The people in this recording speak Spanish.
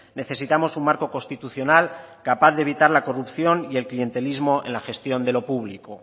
necesitamos un marco constitucional capaz de evitar la corrupción y el clientelismo en la gestión de lo público